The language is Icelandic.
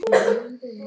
Hvað gerðist svo!?